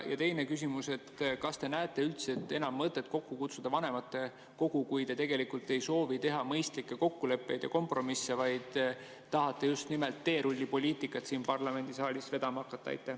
Ja teine küsimus: kas te näete üldse enam mõtet kokku kutsuda vanematekogu, kui te tegelikult ei soovi teha mõistlikke kokkuleppeid ja kompromisse, vaid tahate just nimelt teerullipoliitikat siin parlamendisaalis vedama hakata?